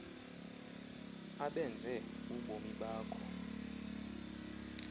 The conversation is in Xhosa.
abenze ubomi bakho